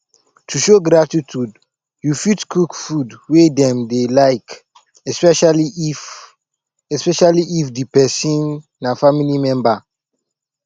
to show gratitude you fit cook food wey dem dey like especially if especially if di person na family member